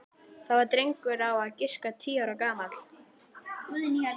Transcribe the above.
Það var drengur á að giska tíu ára gamall.